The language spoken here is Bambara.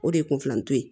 O de ye kun filantɔ ye